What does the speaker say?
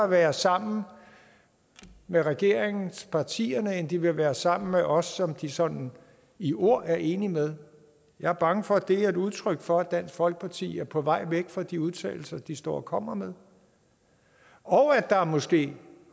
være sammen med regeringspartierne end de vil være sammen på med os som de sådan i ord er enige med jeg er bange for at det er et udtryk for at dansk folkeparti er på vej væk fra de udtalelser de står og kommer med og at der måske